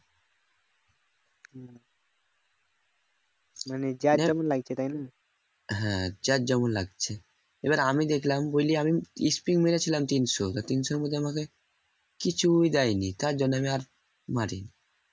হ্যাঁ যার যেমন লাগছে এবার আমি দেখলাম বুঝলি আমি মেরেছিলাম তিনশো তা তিনশোর মধ্যে আমাকে কিছুই দেয়নি তার জন্য আমি মারি